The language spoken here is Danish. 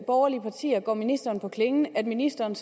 borgerlige partier går ministeren på klingen at ministeren